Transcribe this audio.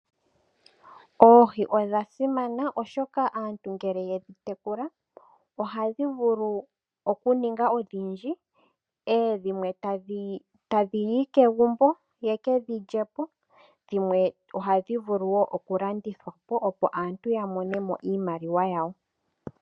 Oohi odha simana oshoka aantu ngele yedhi tekula ohadhi vulu okuninga odhindji, dhimwe tadhiyi kegumbo yekedhi lyepo, dhimwe ohadhi vulu woo okulandithwa po opo aantu ya mone mo iimaliwa yawo.